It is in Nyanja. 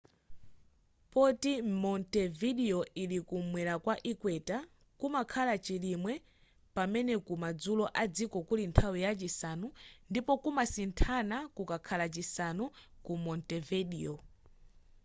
poti montevideo ili kumwera kwa equator kumakhala chilimwe pamene ku madzulo adziko kuli nthawi ya chisanu ndipo kumasinthana kukakhala chisanu ku montevedio